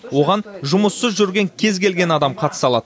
оған жұмыссыз жүрген кез келген адам қатыса алады